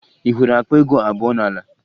Ị hụrụ akpa ego abụọ n'ala?